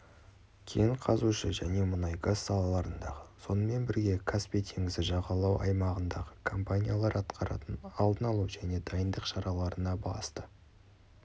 кен қазушы және мұнайгаз салаларындағы сонымен бірге каспий теңізі жағалауы аймағындағы компаниялар атқаратын алдын алу және дайындық шараларына басты